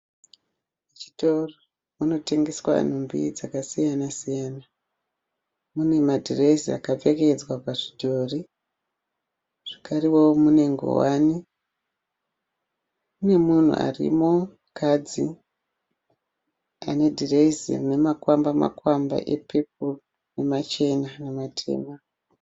Chitoro munotengeswa nhumbi dzakasiyana siyana. Mune madhirezi akapfekedzwa pazvidhori zvakareo mune ngowani. Mune munhu arimo mukadzi ane dhirezi rine makwamba makwamba epepuru namachena nematema.